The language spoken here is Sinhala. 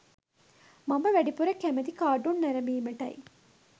මම වැඩිපුර කැමති කාටුන් නැරඹීමටයි.